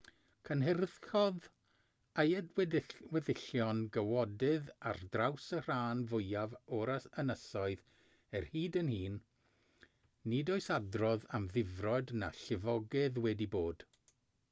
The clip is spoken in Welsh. cynhyrchodd ei weddillion gawodydd ar draws y rhan fwyaf o'r ynysoedd er hyd yn hyn nid oes adrodd am ddifrod na llifogydd wedi bod